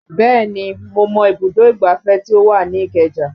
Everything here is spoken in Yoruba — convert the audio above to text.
Bẹ́ẹ̀ni mo mọ ibùdó ìgbáfẹ́ tí ó wà ní ìkeja